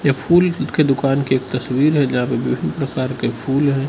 फूल के दुकान की एक तस्वीर जहां पे विभिन्न प्रकार के फूल है।